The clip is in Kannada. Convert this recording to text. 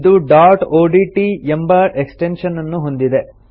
ಇದು ಡಾಟ್ ಒಡಿಟಿ ಎಂಬ ಎಕ್ಸ್ಟೆನ್ಶನ್ ಅನ್ನು ಹೊಂದಿದೆ